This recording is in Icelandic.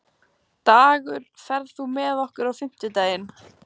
Dagur, ferð þú með okkur á fimmtudaginn?